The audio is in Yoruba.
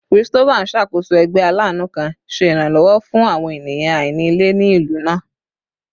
Christopher n ṣakoso ẹgbẹ alaanu kan, ṣe iranlọwọ fun awọn eniyan aini ile ni ilu naa